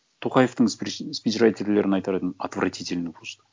тоқаевтың спичрайтерлерін айтар едім отвратительно просто